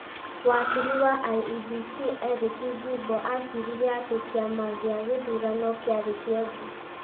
wakiri wa IEBC Eric Gumbo acirire atĩ kĩama gĩa gĩthurano kĩarĩ kĩonju,